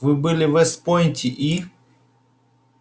вы были в вест-пойнте и